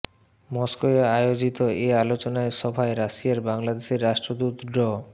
মস্কোয় আয়োজিত এ আলোচনা সভায় রাশিয়ায় বাংলাদেশের রাষ্ট্রদূত ড